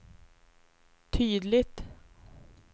tydligt